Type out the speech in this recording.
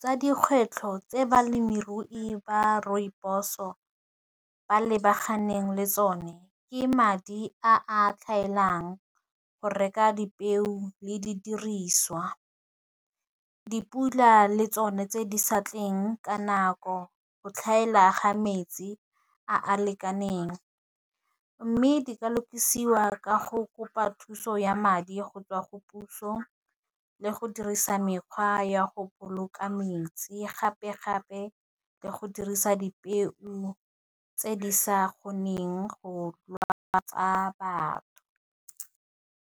tsa dikgwetlho tse balemirui ba rooibos-o ba lebaganeng le tsone, ke madi a tlhaelang go reka dipeo le di diriswa dipula, le tsone tse di sa tleng ka nako, go tlhaela ga metsi a a lekaneng, mme di lokisiwa ka go kopa thuso ya madi go tswa go puso, le go dirisa mekgwa ya go boloka metsi, gape gape le go dirisa dipeo tse di sa kgoneng go lwatsa batho.